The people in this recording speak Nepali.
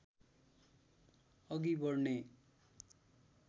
अघि बढ्ने